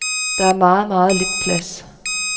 Der er meget, meget lidt plads.